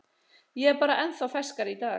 Ég er bara ennþá ferskari í dag.